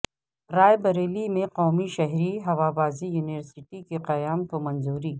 رائے بریلی میں قومی شہری ہوابازی یونیورسٹی کے قیام کو منظوری